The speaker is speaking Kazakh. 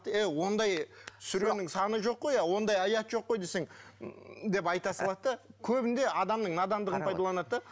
эй ондай сүренің саны жоқ қой ондай аят жоқ қой десең ммм деп айта салады да көбінде адамның надандығын пайдаланады да